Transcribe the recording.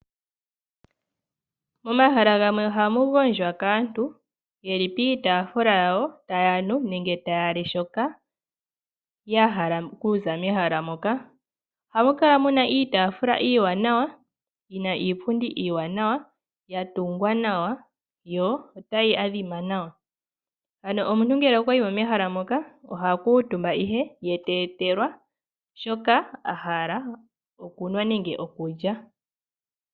Momahala gamwe ohamu gondjwa kaantu ye li piitaafula yawo taya nu nenge taya li shoka ya hala okuza mehala moka. Ohamu kala mu na iipundi niitaafula iiwanawa yi na iipundi iiwanawa ya tungwa nawa yo otayi adhima nawa. Ano omuntu ngele okwa yi mo mehala moka oha kuutumba nduno ye te etelwa shoka a hala okunwa nenge okulya.